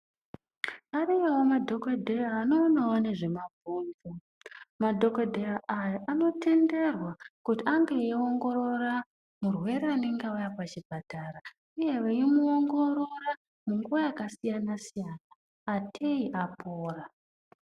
Ariyowo madhokodheya anoonawo nezvema bhonzo madhokodheya aya anotenderwa kuti ange ei ongorora murwere anenge auya kuchi oatara uye ei ongorora nguwa yaka siyana siya ateyi vapora.